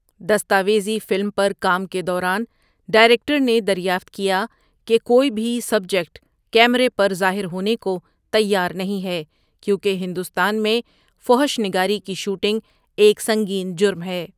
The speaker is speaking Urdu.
دستاویزی فلم پر کام کے دوران ڈائریکٹر نے دریافت کیا کہ کوئی بھی سبجیکٹ کیمرے پر ظاہر ہونے کو تیار نہیں ہے کیونکہ ہندوستان میں فحش نگاری کی شوٹنگ ایک سنگین جرم ہے۔